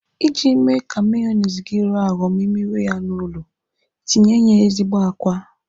Iji mee ka meyoniz gi rọọ arọ ma ị mewe ya n'ụlọ, tinye ya ezigbo àkwá.